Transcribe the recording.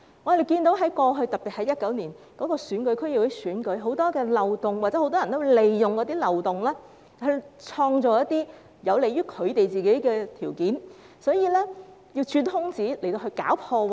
我們看到過去，特別是2019年的區議會選舉，有很多漏洞，有很多人利用漏洞而創造有利於他們的條件，會鑽空子搞破壞。